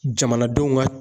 Jamanadenw ŋa